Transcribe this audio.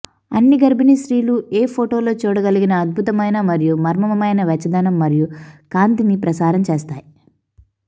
అన్ని గర్భిణీ స్త్రీలు ఏ ఫోటోలో చూడగలిగిన అద్భుతమైన మరియు మర్మమైన వెచ్చదనం మరియు కాంతిని ప్రసారం చేస్తాయి